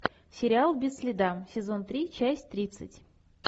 сериал без следа сезон три часть тридцать